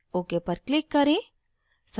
ok पर click करें